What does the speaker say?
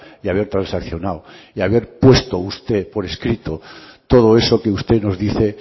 y haber transaccionado y haber puesto usted por escrito todo eso que usted nos dice